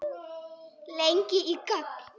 Lengi í gang.